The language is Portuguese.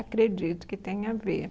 Acredito que tenha a ver.